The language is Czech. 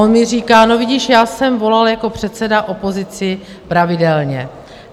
On mi říká: No vidíš, já jsem volal jako předseda opozici pravidelně.